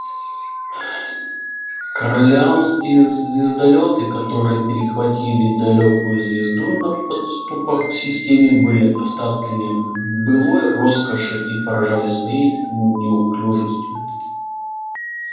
корелианские звездолёты которые перехватили далёкую звезду на подступах к системе были остатками былой роскоши и поражали своей неуклюжестью